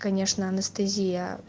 конечно анестезия